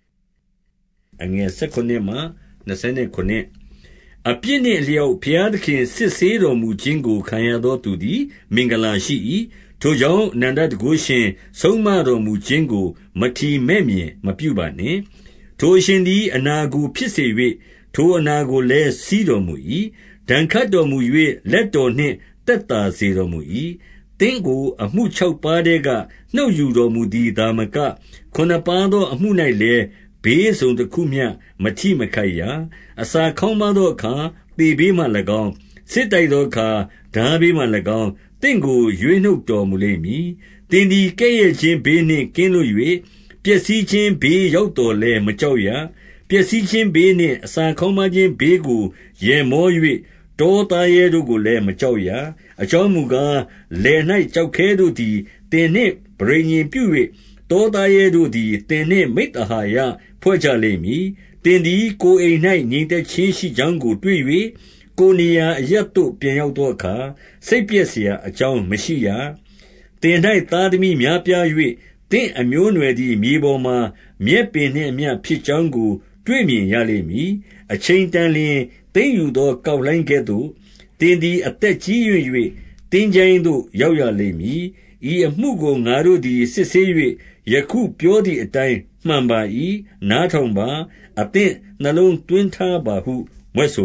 ။ အပြစ်နှင့်အလျောက် ဘုရားသခင် စစ်ဆေး တော်မူခြင်းကို ခံရသောသူသည် မင်္ဂလာရှိ၏။ ထိုကြောင့် အနန္တတန်ခိုးရှင် ဆုံးမတော်မူခြင်းကို မထီမဲ့မြင်မပြုပါနှင့်။ ထိုအရှင်သည် အနာကိုဖြစ်စေ၍၊ ထိုအနာကိုလည်း စည်းစေတော်မူ၏။ ဒဏ်ခတ်တော်မူ၍ လက်တော်နှင့် သက်သာစေတော်မူ၏။ သင့်ကိုအမှုခြောက်ပါးထဲက နှုတ်ယူတော်မူ သည်သာမက၊ ခုနစ်ပါးသောအမှု၌လည်း ဘေးတစုံတခုမျှ မထိမခိုက်ရ။ အစာခေါင်းပါးသောအခါ သေဘေးမှ၎င်း၊ စစ်တိုက်သောအခါ ထားဘေးမှ၎င်း၊ သင့်ကို ရွေးနှုတ် တော်မူလိမ့်မည်။ သင်သည်ကဲ့ရဲ့ခြင်းဘေးနှင့် ကင်းလွတ်၍ ပျက်စီးခြင်းဘေးရောက်သော်လည်း မကြောက်ရ။ ပျက်စီးခြင်းဘေးနှင့် အစာခေါင်းပါးခြင်းဘေးကို ရယ်မော၍ တောသားရဲတို့ကိုလည်း မကြောက်ရ။ အကြောင်းမူကား၊ လယ်၌ကျောက်ခဲတို့သည် သင်နှင့်ပဋိညာဉ်ပြု၍ တောသားရဲတို့သည် သင်နှင့် မိဿဟာယဖွဲ့ကြလိမ့်မည်။ သင်သည်ကိုယ်အိမ်၌ ငြိမ်သက်ခြင်းရှိကြောင်းကို တွေ့၍ ကိုယ်နေရာအရပ်သို့ပြန်ရောက်သောအခါ စိတ်ပျက်စရာအကြောင်းမရှိရ။ သင်၌သားသမီးများပြား၍၊ သင့်အမျိုးအနွယ်သည် မြေပေါ်မှာ မြက်ပင်နှင့်အမျှ ဖြစ်ကြောင်းကို တွေ့မြင်ရလိမ့်မည်။ အချိန်တန်လျှင် သိမ်းယူသောကောက်လှိုင်းကဲ့သို့၊ သင်သည် အသက်ကြီးရင့်၍ သင်္ချိုင်းသို့ ရောက်ရ လိမ့်မည်။ ဤအမှုကို ငါတို့သည် စစ်ဆေး၍ ယခုပြောသည်အတိုင်း မှန်ပါ၏။ နားထောင်ပါ။ အသင့်နှလုံးသွင်း ထားပါဟု မြွက်ဆို